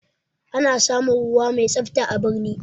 Ana samun ruwa mai tsafta a birni